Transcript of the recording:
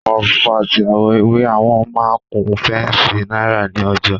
Àwọ̀ funfun àti àwọ̀ ewé I wọn máa kun féǹsì Náísà ní òjòó